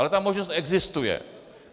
Ale ta možnost existuje.